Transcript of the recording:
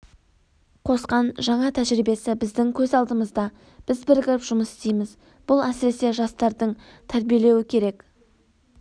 қосқан жаңа тәжірибесі біздің көз алдымызда біз бірігіп жұмыс істейміз бұл әсіресе жастарды тәрбиелеуі керек